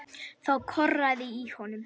Þá korraði í honum.